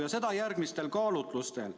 Ja seda järgmistel kaalutlustel.